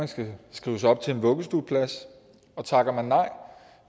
skal skrives op til en vuggestueplads og takker man nej